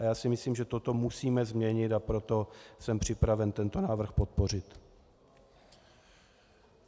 A já si myslím, že toto musíme změnit, a proto jsem připraven tento návrh podpořit.